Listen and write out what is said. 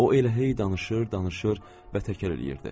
O elə hey danışır, danışır və təkər eləyirdi.